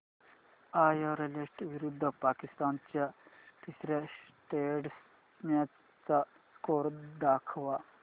Ireland विरुद्ध पाकिस्तान च्या तिसर्या टेस्ट मॅच चा स्कोअर दाखवा